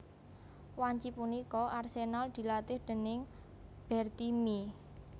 Wanci punika Arsenal dilatih déning Bertie Mee